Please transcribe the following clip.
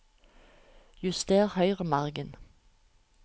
Juster høyremargen